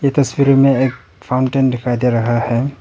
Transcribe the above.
तस्वीर में एक फाउंटेन दिखाई दे रहा है।